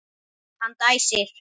Hann dæsir.